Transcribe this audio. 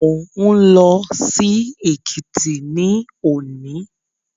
Mo ń lọ sí Èkìtì ní òní